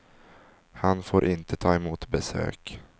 Han får inte ta emot besök.